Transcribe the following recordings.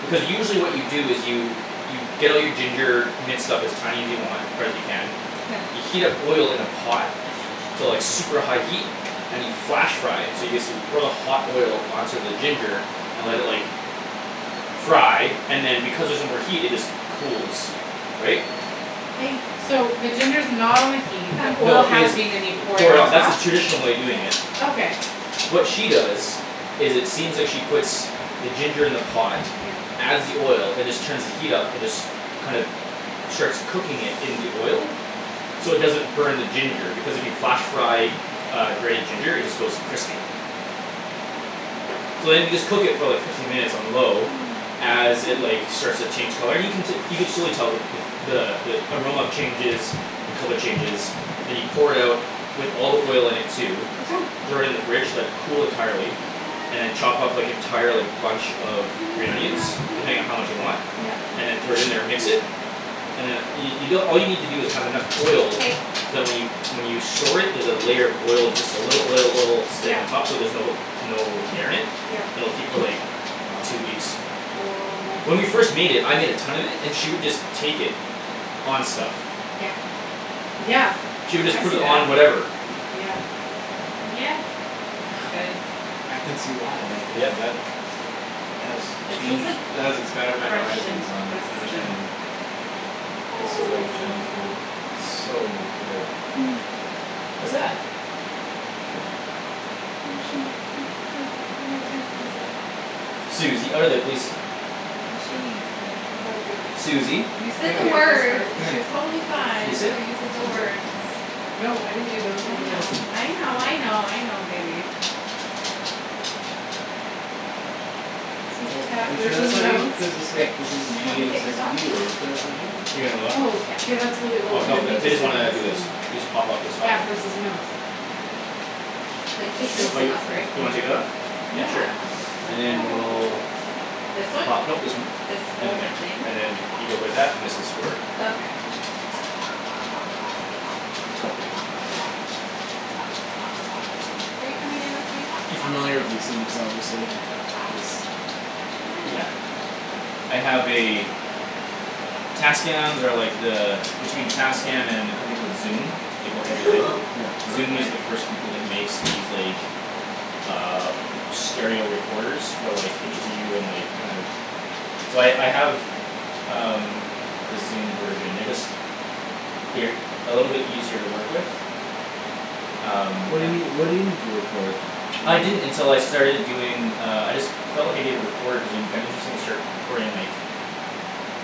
because usually what you do is you you get all your ginger minced up as tiny as you want, or as you can Yeah. you heat up oil in a pot to like super high heat and you flash fry it so you basically pour the hot oil onto the ginger and let it, like fry and then because there's no more heat it just cools. Right? Hey. So the ginger's not on the heat, the Come. oil No, it has is. been and you pour it Pour it on out, that's the top? traditional way of doing it. Sit. Okay. What she does is it seems like she puts the ginger in the pot Yep. adds the oil and just turns the heat up and just kind of, starts cooking it in the oil. So it doesn't burn the ginger because if you flash fry uh, grated ginger it just goes crispy. So then you just cook it for like fifteen minutes on low Oh, as it, oh. like, starts to change color, and you can te- you can surely tell the, the f- the, the aroma changes the color changes then you pour it out with all the oil in it too What's wrong? throw it in the fridge, let it cool entirely and then chop up, like, entire, like, bunch of green Gimme onions some depending on how broccoli. much you want Yup. Gimme and then throw it in some there and mix it broccoli. and then you, you don- all you need to do is have enough oil so Hey. that when you, when you store it, there's a layer of oil, just a little oil, oil stain on Yup. top so there's no, no air in it, Yup. and it'll keep for, like, Wow. two weeks. Oh, my When we goodness. first made it, I made a ton of it and she would just take it on stuff. Yeah. Yeah, She would just I put see it that, on whatever. yeah. Yeah, it's good. I can see why, like, yeah, Yep. that has It's just, changed, like, that has expanded my fresh and horizons on crisp and understanding a Was so little good with spicy. Chinese food, so good. Hm. What's that? Oh, shoot. Look, look at my text message. Susie, outta there, please. She needs dinner. Susie, You said come the words. here, come She here. was totally fine Can you This. sit? until you That's said the you, words. yeah. No, I didn't do those I or those. know, I know, I Oh. know, I know, baby. Oh, are you sure that's not you, cuz it's I, like, this is can you help G me and this take is this off? you. Are you sure that's not you? You're gonna what? Oh, Yeah. k, that's really Oh, old. no, Then he the, they just did this just and wanna do this. You this. just pop up this soft Cat one. versus mouse. Like, take this Oh, thing you, off, right? you wanna take that off? Yeah, Yeah, I don't want sure, and to then Oh. we'll This one? pop, no, this This whole one. thing? And then there. And then you go there that, and this is for Oh, okay. Are you coming You in with me? familiar with these things, obviously. These Yeah. I have a Tascams are like the between Tascam and a company called Zoom they go head to head. Yeah. Zoom is the first company that makes these, like, uh stereo recorders for, like interview and, like, kind of So I, I have um, the Zoom version. They're just they're e- a little bit easier to work with. Um. What do you need, what do you need to record? I didn't until I starting doing, uh, I just felt like I needed a recorder cuz it would be kinda interesting to start re- recording, like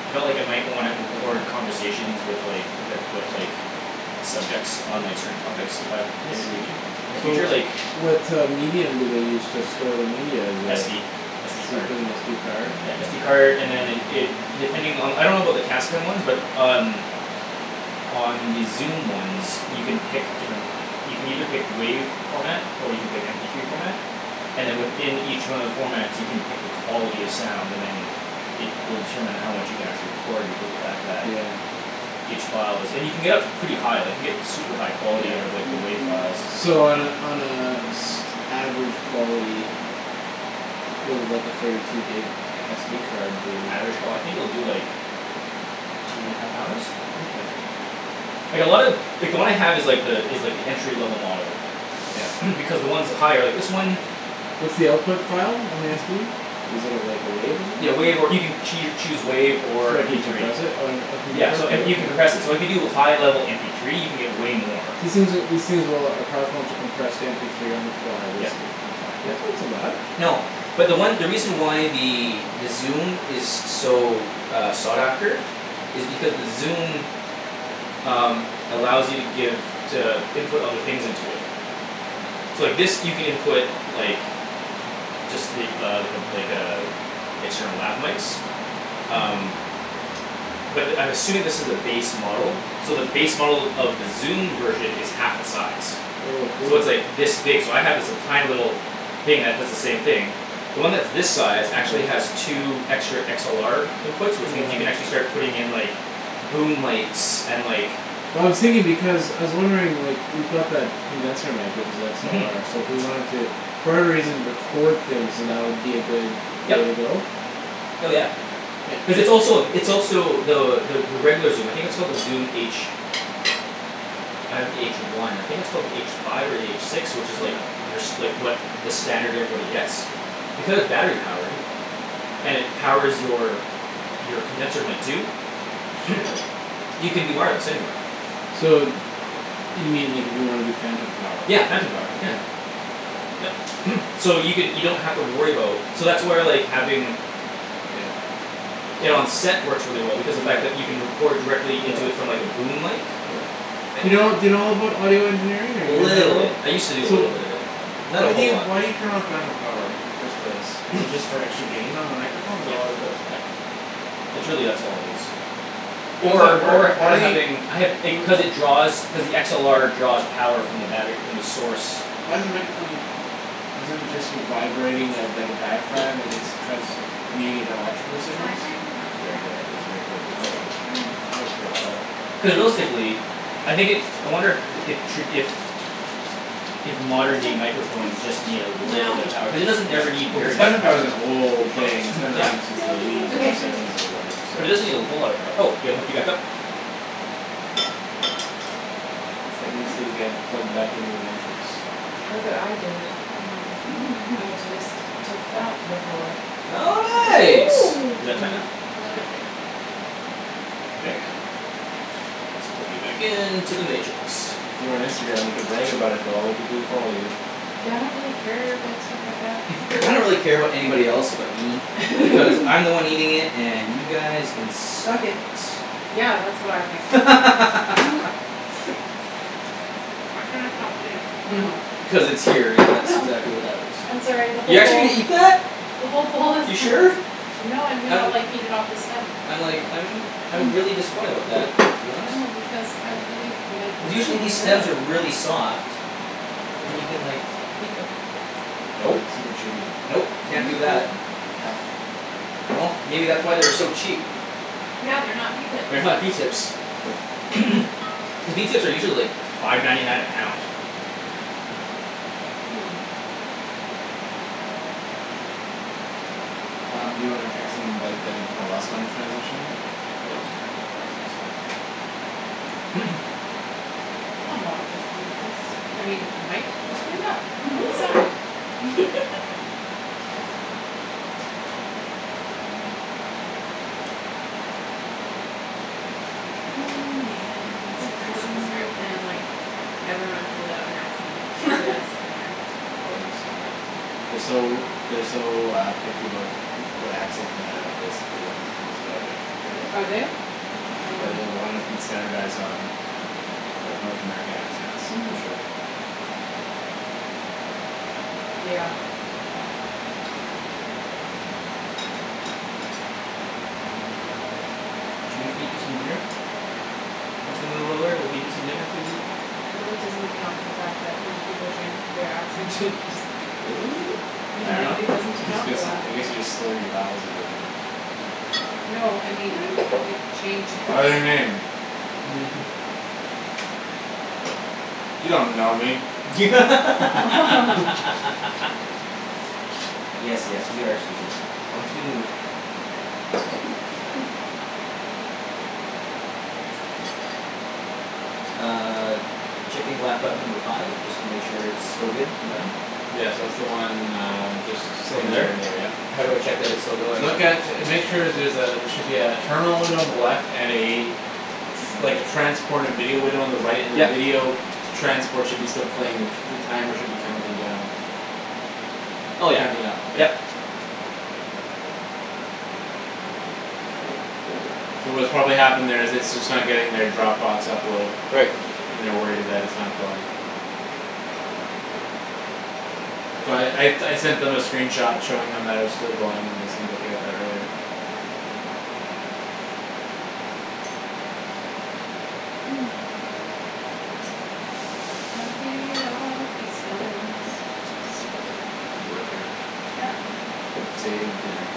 I felt like I might wanna record Yeah? conversations with, like, poten- with, like subjects on, like, certain topics if I I in the see. futu- in the So future, like what uh medium do they use to store the media is a SD. So SD you card. put an SD card? Yeah, SD card and then it, it it, depending on the, I don't about the Tascam ones but um on the Zoom ones you can pick different you can either pick WAV format or you can pick MP three format and then within each one of the formats you can pick the quality of sound, and then it will determine how much you can actually record because the fact that Yeah. each file is, and you can get up to pretty high, like, you can get super high quality out of, like, the Yeah. WAV files. So on a, on a s- average quality what would like a thirty two gig SD card do? Average qual- I think it will do, like two and a half hours? Okay. Like, a lot of like, the one I have is, like, the, is like, the entry level model. Yep. Because the ones with higher, like, this one What's the output file on the SD? Is it a, like, a wave or Yeah, WAV, or you something? can choo- choose WAV or So you MP three. decompress it? Oh uh I can Yeah, compress so, it, and you can okay. compress it, so if you do high level MP three you can get way more. These things are, these things will, are powerful enough to compress to mp three on the fly, Yep, basically? on the file, yep. That's not so bad. No, but the one, the reason why the Zoom is so, uh, sought after is because the Zoom um, allows you to give to input other things into it. So, like, this you can input like just, like, uh, like a, like a external lab mikes. Hm. Um. But I'm assuming this is the base model. So the base model of the Zoom version is half the size. Oh a So cool. it's, like, this big, so I have, like, this tiny little thing Yeah. that does the same thing. The one that's this size actually has Yeah. two extra XLR inputs which means you can Yeah. actually start putting in, like boom mikes and, like Well, I was thinking because, I was wondering, like, we've got that condenser mic which is Mhm. XLR so if we wanted to for whatever reason record things, that would be a good way to Yep. go? Hell, yeah. It, Cuz it it's also a, it's also the, the, the regular Zoom, I think it's called the Zoom H. I have the H one. I think it's called the H five or the H six, which is, like Yeah. your s- like, what, the standard everybody gets. Because battery-powered. And it powers your your condenser mic too. Shit. You can do wireless, anywhere. So you mean, like, if you wanna do phantom power. Yeah, phantom power, Yeah. yeah. Yep, so you can, you don't have to worry about So that's where, like, having Yeah. it on set works really well because the fact that you can Yeah. record directly Yeah. into it from, like, a boom mic. Yeah. Do you know, do you know about audio engineering or are Little you bit. I used to do a So little w- bit of it. Not a why do whole you, lot. why do you turn on phantom power in the first place? Is it just for extra gain on the microphone? Is that Yep, all it does? yep, it's really that's all it is. Or at Or, work, or, how or do you having, I have, it, cuz it draws cuz the XLR draws power from the battery, from the source. Why does the microphone need power? Isn't it just you vibrating a, dike a diaphragm and it's transmuting into electrical signals? That's a very good, ah, that's a very gor, good I gotta, question. I gotta figure that out. Cuz realistically I think it, I wonder the, if tra- if if modern day microphones just need a little bit of power cuz it doesn't Yeah, ever need well, cuz very much phantom power power. is an old thing; it's been around Yeah. since You the look eighties so or Okay. grumpy. seventies or whatever, But it doesn't need a whole lot of so. power. Oh, yeah, gotta hook you back up. Ped needs to get plugged back into the Matrix. Look what I did. I just took that before. Oh, Oh. nice. Is that tight Mm. enough? A little bit tighter. There you Okay? go. Ah, let's plug you back into the Matrix. If you were on Instagram, you could brag about it to all the people who follow you. Yeah, I don't really care about stuff like that. I don't really care about anybody else but me. Cuz I'm the one eating it and you guys can suck . Yeah, that's what I think. Mhm. I cannot stop eating. Oh, no. Cuz it's here and Oh, that's no. exactly what happens. I'm sorry the You're whole actually bowl gonna eat that? the whole bowl is You sure? No, I'm gonna, I'm like, eat it off the stem. I'm like, I'm I'm really disappointed about that to be honest. No, because I really, like, Cuz it's usually really these stems are good. really soft. And you can, like eat them. But Nope, it's super chewy nope, can't do that. and tough. Well, maybe that's why they were so cheap. Yeah, they're not pea tips. They're not pea tips. Cuz pea tips are usually, like, five ninety nine a pound. Hmm. Um, do you wanna text and invite them to tell us when to transition? I mought just leave this, I mean, might just leave that on the side. Oh, man, its Coulda just flipped the pressing. script and, like Everyone pulled out an accent for this dinner. Oh, they'd be so mad. They're so, they're so uh picky about who- what accent you have, basically, on, in this project. Are Really? they? Yeah. Yeah, No. they uh Oh. wanna st- standardize on of like North American accents, for Mhm. sure. Yeah. Should we feed you some dinner? Once we move over we'll feed you some dinner, Susie. It really doesn't account for the fact that when people drink their accent changes. I It really dunno. doesn't This account for gets, that. I guess you just slur your vowels a bit more. No, I mean it changes. Yes, yes, we are Susie, once we move. Uh Checking laptop number five just to make sure it's still good and running. Yes, that's the one uh just Just sitting over right over there, there. yep. How do I check that it's still going? Look at, make sure there's a, there should be a terminal window on the left and a like, a transported video window on the right and the Yep. video transport should still be playing the c- the timer should be counting down. Oh yeah, Counting up, yep. yep. So what's probably happened there is it's just not getting their Dropbox upload. Right. And they're worried it, that it's not going. So I, I, I sent them a screen shot showing them that it was still going and they seemed okay with that earlier. I'm eating it all, pea stems, super good. Good work here. Yep. It saved dinner.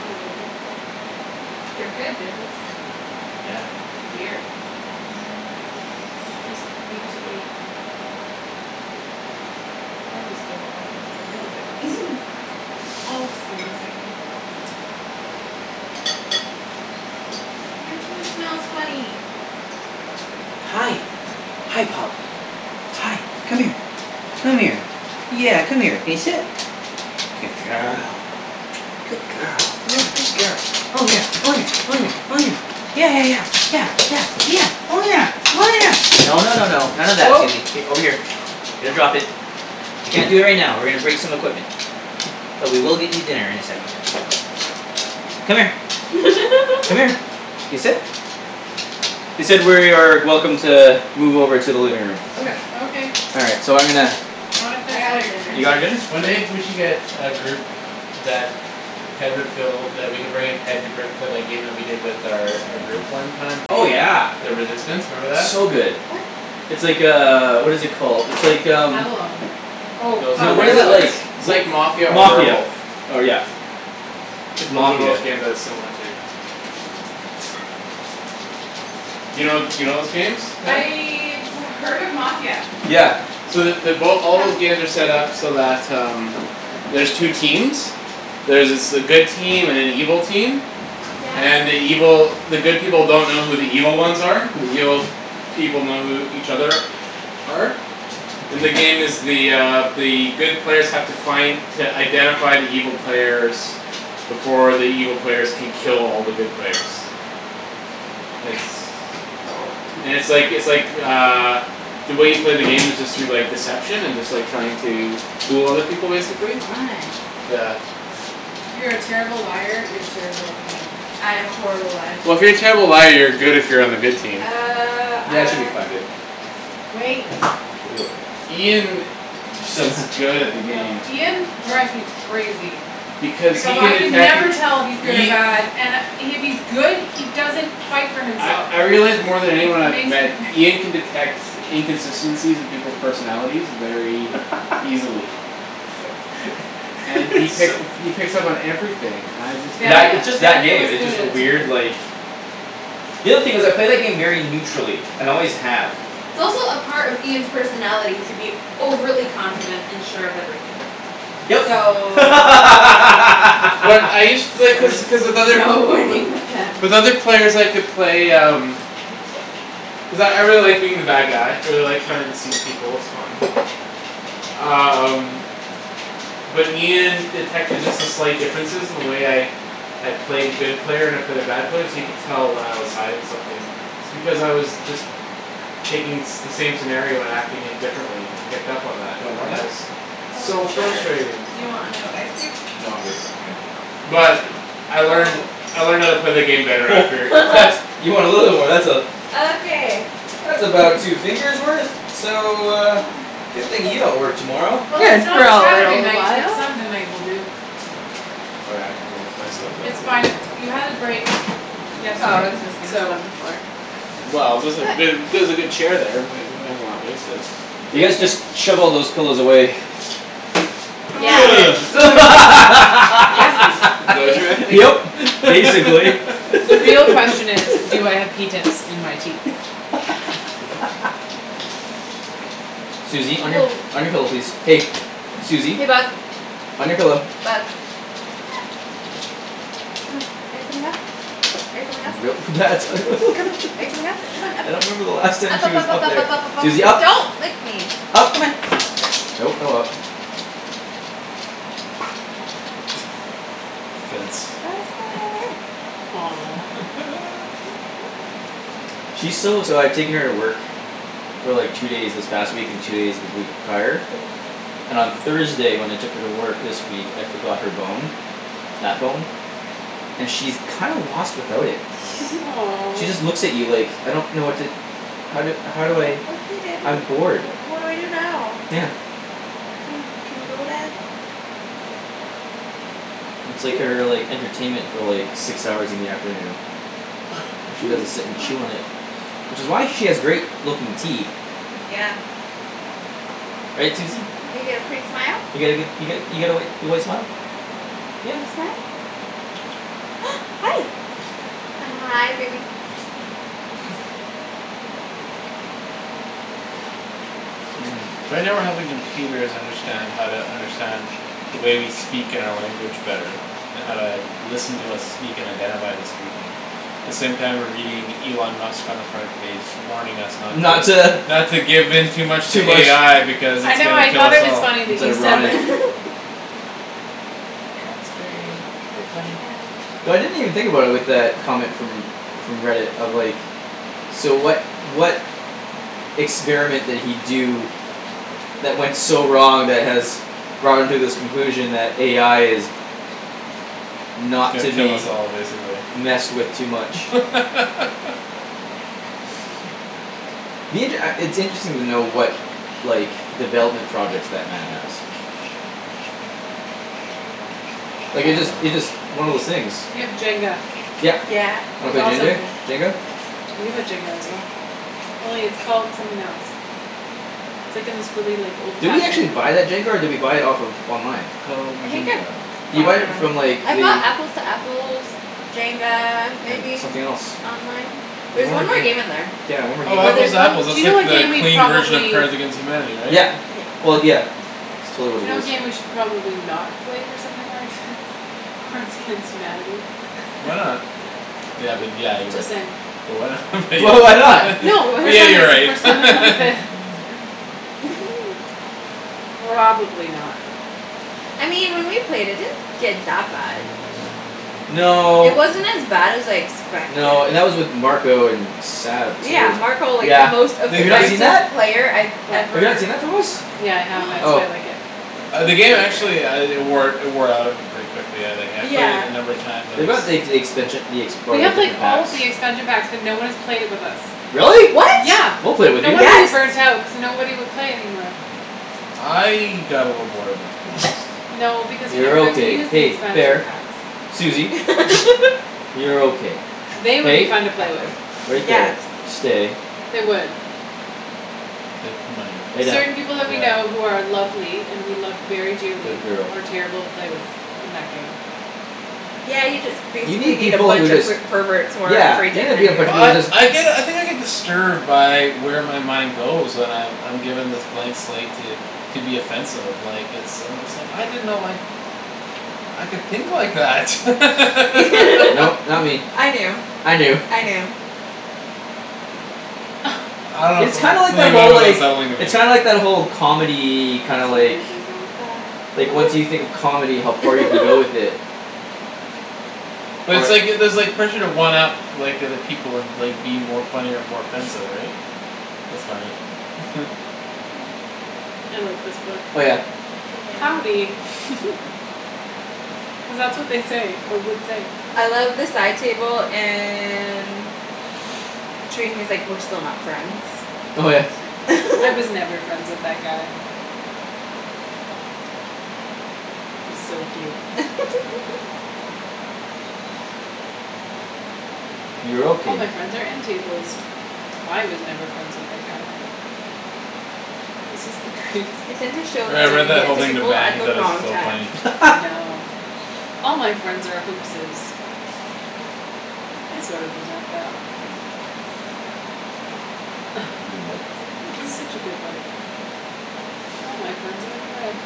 No, they're good. They're good; they're just weird. They just need to be harvested off of the middle bits. Off, Susie. Your food smells funny. Hi, hi, pup. Hi, come here. Come here. Yeah, come here. Can you sit? Good girl. Good girl, yeah, good girl. Oh, yeah, oh, yeah, oh, yeah, oh, yeah. Yeah, yeah, yeah, yeah, yeah, yeah. Oh, yeah, oh, yeah, no, no, no, no. None of that, Oh. Susie, k, over here. Here, drop it. You can't do it right now. We're gonna break some equipment. But we will get you dinner in a second. Come here. Come here. Can you sit? They said we're, are welcome to move over to the living room. Okay. Okay. All right, so I'm gonna I wanna I finish got my her dinner. You pea got tips. her dinner? One day we should get a group that Ped would feel that we could bring in Ped to break for that game we did with their, our group one time, the Oh, uh yeah. the Resistance, remember that? So good. What? It's like, uh, what is it called, it's like, um Avalon. Oh, No uh No, what is it, like It's like Mafia wha- or Mafia, Werewolf. or, yeah. It's Those are both Mafia. games that it's similar to. You know, you know those games, Ped? I've heard of Mafia. Yeah. So the, they both, all Come. those games are set up so that um there's two Sit. teams. There's s- a good team and an evil team. Yeah. And the evil, the good people don't know who the evil ones are but the evil people know who each other are. And the game is the uh the good players have to find to identify the evil players before the evil players can kill all the good players. It's Oh. and it's like, it's like uh the way you play the game is just through, like, deception and just, like, trying to fool other people, basically. Fun. Yeah. If you're a terrible liar, you're terrible at the game. I am a horrible liar. Well, if you're a terrible liar you're good if you're on the good team. Uh, Yeah, it should ah be fine, babe. Wait. She'll be okay. Ian s- is good at the Go, game. Ian go. drives me crazy. Because he Because can I can detect it, never tell if he's good or Ia- bad and I, if he's good, he doesn't fight for I, himself. I realize more than It anyone I've makes me met cra- Ian can detect inconsistencies in people's personalities very easily. And he pick- So he picks up on everything; I just can't That, Danie- it's just that Daniel game, is it's good at just a it too. weird, like The other thing is, I play that game very neutrally and always have. It's also a part of Ian's personality to be overly confident and sure of everything. Yep. So But I used to, like, cuz, cuz with there's other, no winning with him. with with other players I could play um cuz I, I really like being the bad guy. I really like trying to deceive people; it's fun. Um But Ian detected just the slight differences in the way I I play the good player and I play the bad player so you could tell when I was hiding something. It's because I was just taking the same scenario and acting it differently. He picked up on Do that, you want more and on that that? was Oh, So sure, frustrating. do you want another ice cube? No, I'm good. All right. Mkay. But I learned, Oh. I learned how to play the game better after. What. You want a little war, that's a Okay. that's about two fingers worth. So uh Good thing you don't work tomorrow. Well, Good it's for not a Saturday little night but while. Sunday night will do. Oh, yeah, I can move my stuff It's there. fine; you had the break Oh, I yesterday, was just gonna sit so. on the floor. Well, there's a, But ther- there's a good chair there; we may, we may as well not waste it. You guys just shove all those pillows away. Yeah. So where Yeah, That's, is, is basically. that Yep. what you Basically. The real meant? question is, do I have pea tips in my teeth? Susie, on your, Woah. on your pillow, please. Hey. Susie, Hey, bug. on your pillow. Bug. Come on. Are you coming up? Are you coming up? Come on, are you coming up? Come on, up. I don't remember the last time Up, she up, was up, up, up up, there. up, up, up, up, Susie, up. up. Don't lick me. up. Come on. Nope, no up. Fence. I'll sit right over here. She's so, so I've taken her to work for like two days this past week and two days the week prior Oh. and on Thursday when I took her to work this week, I forgot her bone that bone and she's kinda lost without it. She Aw. just looks at you like "I don't know what to how do, how do I "Oh, okay, dad, what I'm bored." d- what do I do now?" Yeah. "Can, can we go, dad?" It's like her, like, entertainment for, like six hours in the afternoon. All she does is sit and chew on it. Which is why she has great looking teeth. Yeah. Right, Susie? You got a pretty smile. You got a good, you got, you got a white, your white smile? Yeah. Can you smile? Hi. Hi, baby. So right now we're helping computers understand how to understand the way we speak and our language better and how to listen to us speak and identify who's speaking the same time we're reading Elon Musk on the front page warning us not Not to to not to give in too much to Too much AI because I it's know, gonna I kill thought us it was all. funny that It's you said ironic. that. That's gra- very funny. Ouch. So I didn't even think about it with that comment from from Reddit of, like So what, what experiment did he do that went so wrong that has brought him to this conclusion that AI is He's not gonna to kill us be all, basically. messed with too much. Me, it, uh, it's interesting to know what like, development projects that man has. I Like, it just, don't it know. just, one of those things. You have Jenga. Yep. Yeah. Wanna That's play Jendar, awesome. Jenga? We have Jenga as well. Only it's called something else. It's, like, in this really, like, Did we old-fashioned actually looking buy that jenga or did we buy it off of online? Called I think I Jinga. Did you bought buy it it on- from, like, I bought the Apples to Apples Jenga, And maybe something else. online. There There's was one more one more game game. in there. Yeah, one more game Oh, we Or Apples there's bought. to one Apples, Do that's you know like what the game we clean version of probably Cards against Humanity, right? Yeah, Yeah. well, yeah. It's totally what Do you it know what is. game we should probably not play with something like thi- Cards against Humanity. Why not? Yeah, but yeah, you're Just right. saying. But why not but But why yeah, not? yeah. No, What? But for yeah, something, you're right. for something like this. Probably not. I mean when we played it, it didn't get that bad. It No. wasn't as bad as I expected. No, and that was with Marco and Sab Yeah, too, Marco, like, the yeah. most They, Have you not they seen offensive that? played I've What? Have you not ever seen that from us? Yeah, I have. That's why Oh. I like it. Ah, the game actually uh it wore, it wore out on me pretty quickly. But yeah, like, I, I've played it Yeah. a number of times on They this got the ex- expansion, the ex- We part of have, like, different all packs. the expansion packs but no one has played it with us. Really? What? Yeah, We'll play with no you. wonder you Yes. burnt out cuz nobody would play it anymore. I got a little bored of it, to be honest. No, because you You're never got to okay. use the Hey, expansion fair. packs. Susie. You're okay. They would be Hey, fun to play with. right Yes. there, stay. They would. They might. Lay down. Certain people that we know Yeah. who are lovely and we love very dearly Good girl. are terrible to play with in that game. Yeah, you just You basically need need a people who bunch of just per- perverts who aren't Yeah. afraid to offend you. Well, I, I get, I think I get disturbed by where my mind goes when I've, I'm given this blank slate to to be offensive, like, it's, I'm just like, "I didn't know, like I could think like that." Nope, not me. I knew. I I knew. knew. I don't know It's something, kind like something that, about it whole, was like unsettling to me. It's kinda like that whole comedy, kinda like like, once you think of comedy, how far you can go with it. But it's Or like, it, there's like pressure to one up like, the other people and, like, be more funny or more offensive, right? That's funny. I like this book. Oh, yeah. Howdy. Yeah. Cuz that's what they say, or would say. I love the side table and he was, like, "We're still not friends." Oh, yeah. "I was never friends with that guy." Yeah. He's so cute. You're "All my okay. friends are end tables." "I was never friends with that guy." This is the greatest I book. tend to show Yeah, I that read Dang it. that book whole to thing to people Ben; at he the thought it was wrong so time. funny. I know. "All my friend are hoaxes." I sort of resent that. Ah. Read a book. It's such a good book. "All my friend are."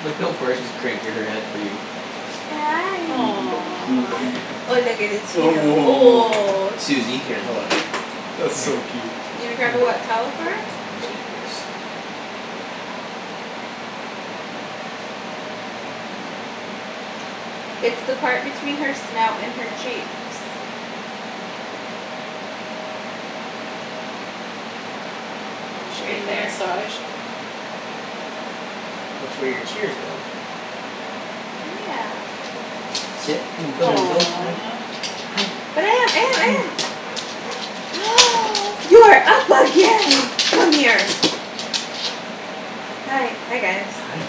Look how far she's cranking her head for you. Hi. Aw. Oh, oh, oh. Susie, Oh, here, hold on. That's Come here. so Susie. cute. You gonna grab a wet towel for her? I'm just gonna do this. It's the part between her snout and her cheeks. Is she Right getting a there. massage? That's where your tears go. Yeah. Sit. Oh, thanks. Hi. Aw. Hi. But I am, I am, I Hi. am. You're up again! Come here. Hi, hi, guys. Hi.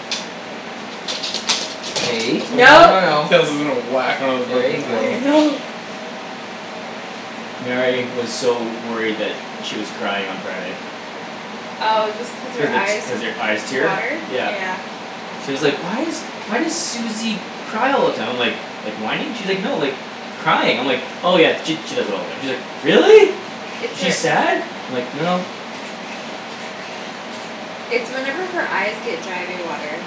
Hey, Oh no, No. no, no. Kara's, was gonna whack one of the There you ribbons out. I go. know. Mary was so worried that she was crying on Friday. Oh, just cause Cuz her the t- eyes cuz her eyes tear, water? Yeah. yeah. She was like, "Why is, why does Susie cry all the time?" I'm like "Like whining?" She's like, "No, like crying." I'm like "Oh, yeah, she, she does that all the time." She's like, "Really? It's Is she her sad?" I'm like, "No." It's whenever her eyes get dry they water.